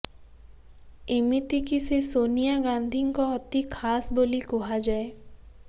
ଏମିତିକି ସେ ସୋନିଆ ଗାନ୍ଧିଙ୍କ ଅତି ଖାସ ବୋଲି କୁହାଯାଏ